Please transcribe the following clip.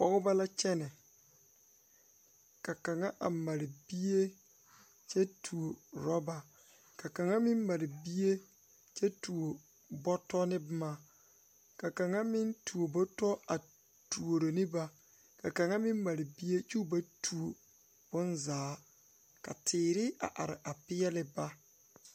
Pɔgebɔ la kyɛnɛ ka. kaŋa a mare bie kyɛ tuo rɔba ka kaŋa meŋ mare bie kyɛ tuo bɔtɔ ne bomma ka kaŋa meŋ tuo bɔtɔ a tuuro ne ba ka kaŋa meŋ mare bie kyoo ba tuo bonzaa ka teere a are a peɛɛli ba.